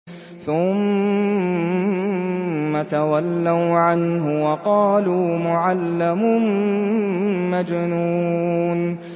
ثُمَّ تَوَلَّوْا عَنْهُ وَقَالُوا مُعَلَّمٌ مَّجْنُونٌ